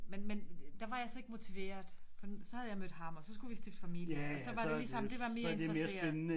Men men der var jeg så ikke motiveret for så havde jeg mødt ham og så skulle vi stifte familie og så var det ligesom det var mere interesseret